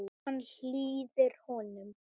Hann hlýðir honum.